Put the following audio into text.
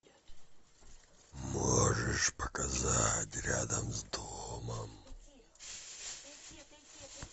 можешь показать рядом с домом